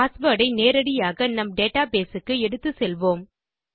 password ஐ நேரடியாக நம் டேட்டாபேஸ் க்கு எடுத்துச்செல்வோம்